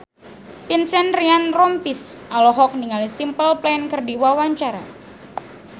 Vincent Ryan Rompies olohok ningali Simple Plan keur diwawancara